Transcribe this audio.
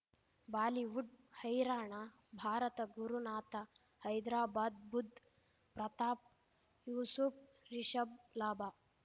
Bollywood ಹೈರಾಣ ಭಾರತ ಗುರುನಾಥ ಹೈದ್ರಾಬಾದ್ ಬುಧ್ ಪ್ರತಾಪ್ ಯೂಸುಫ್ ರಿಷಬ್ ಲಾಭ